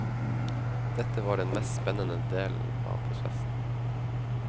Dette var den mest spennende del av prosessen.